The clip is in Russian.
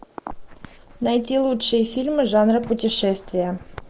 найти лучшие фильмы жанра путешествия